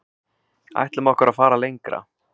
Ætlum okkur að fara lengra